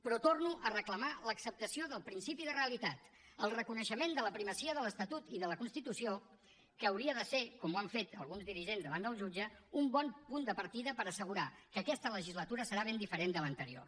però torno a reclamar l’acceptació del principi de realitat el reconeixement de la primacia de l’estatut i de la constitució que hauria de ser com ho han fet alguns dirigents davant del jutge un bon punt de partida per assegurar que aquesta legislatura serà ben diferent de l’anterior